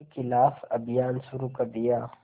के ख़िलाफ़ अभियान शुरू कर दिया